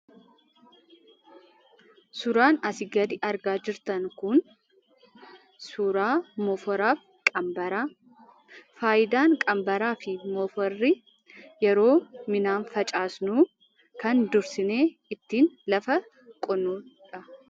Suuraan asii gadi argaa jirtan kun suuraa moofaraaf qabbardha. Faayidaan qabbaraa fi moofaraa yeroo midhaan facaafnu kan dursine ittin lafa qotnudha.